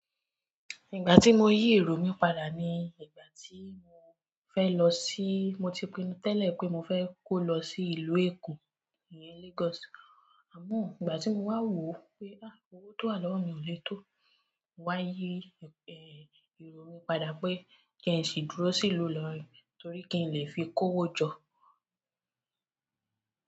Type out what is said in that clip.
Ìgbà tí mo yí èrò mi padà ni ìgbà tí mo fẹ́ lọ sí, mo ti pinnu tẹ́lẹ̀ pé mo fẹ́ kó lọ sí ìlú Èkó, ìyẹn Lagos. Àmọ́ ìgbà tí mo wà wò ó pé, ah! Owó tó wà lọ́wo mi ò lè tó, mo wá yi èrò mi padà pé kí ń sì dúró sí ìlú Ilorin torí pe kí n lè fi kó owó jọ.